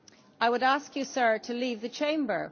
I would ask you, Sir, to leave the Chamber.